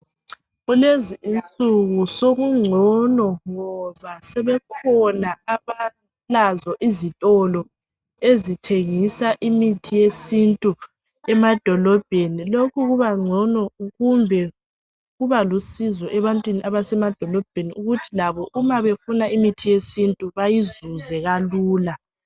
Kulezi insuku sokugcono ngoba sebekhona abantu abalazo izitolo ezithengisa imithi yesintu emadolobheni. Lokhu kubangcono kumbe kuba lusizo ebantwini abasemadolobheni ukuthi labo umabefuna imithi yesintu bayizuze kalula.